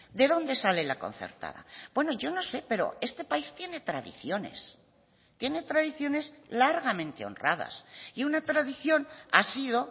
de dónde sale la concertada bueno yo no sé pero este país tiene tradiciones tiene tradiciones largamente honradas y una tradición ha sido